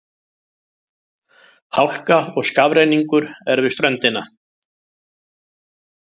Hálka og skafrenningur er við ströndina